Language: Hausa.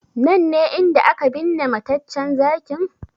Nan ne inda aka binne mataccen Zakin?